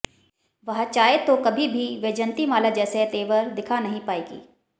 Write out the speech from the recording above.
वह चाहें तो कभी भी वैजयंतीमाला जैसे तेवर दिखा नहीं पाएंगी